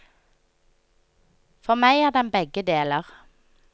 For meg er den begge deler.